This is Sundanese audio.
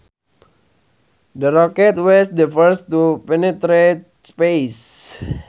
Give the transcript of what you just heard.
The rocket was the first to penetrate space